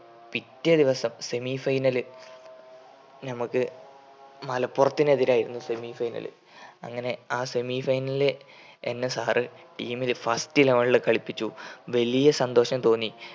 പിറ്റേ ദിവസം semi final ൽ നമ്മക്ക് മലപ്പൊറത്തിന് എതിരായിരുന്നു semi final അങ്ങനെ ആ semi final ൽ എന്നെ sir team ലെ first eleven ൽ കളിപ്പിച്ചു. വലിയ സന്തോഷം തോന്നി